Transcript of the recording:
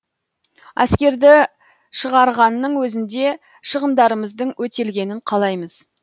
әскерді шығарғанның өзінде шығындарымыздың өтелгенін қалаймыз